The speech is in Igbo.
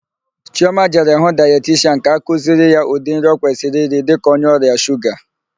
Chịọma jere hụ daetishian ga-akụziri ya ụdị nri ọ kwesịrị iri dịka onye ọrịa shuga.